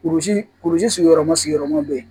Kurusi kurusi sigiyɔrɔma sigiyɔrɔma be yen